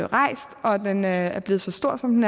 rejst og at den er er blevet så stor som